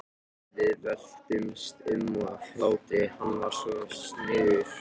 Við veltumst um af hlátri, hann var svo sniðugur.